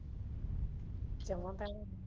ਸ਼ਮਾ ਤਾਈ